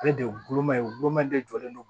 Ale de ye gulɔma ye gulɔma de jɔlen don